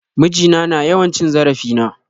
Miji na na yawan cin zarafin na.